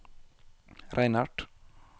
Reinert